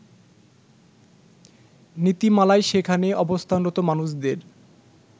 নীতিমালায় সেখানে অবস্থানরত মানুষদের